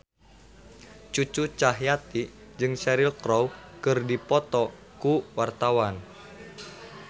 Cucu Cahyati jeung Cheryl Crow keur dipoto ku wartawan